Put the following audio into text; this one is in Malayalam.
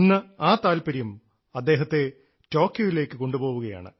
ഇന്ന് ആ താല്പര്യം അദ്ദേഹത്തെ ടോക്കിയോയിലേക്ക് കൊണ്ടുപോവുകയാണ്